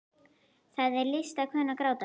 Það er list að kunna að gráta.